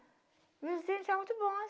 Meus dentes eram muito bons.